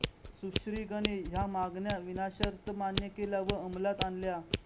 शुश्निगने ह्या मागण्या विनाशर्त मान्य केल्या व अंमलात आणल्या